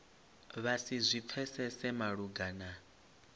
vha si zwi pfesese malugana